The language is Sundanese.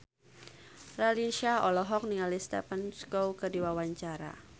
Raline Shah olohok ningali Stephen Chow keur diwawancara